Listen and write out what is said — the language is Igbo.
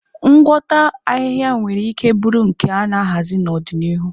Ngwọta ahịhịa nwere ike bụrụ nke a na-ahazi n'ọdịnihu.